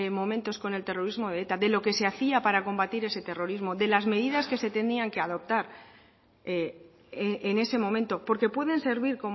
momentos con el terrorismo de eta de lo que se hacía para combatir ese terrorismo de las medidas que se tenían que adoptar en ese momento porque pueden servir